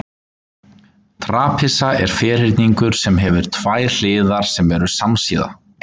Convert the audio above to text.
Trapisa er ferhyrningur sem hefur tvær hliðar sem eru samsíða.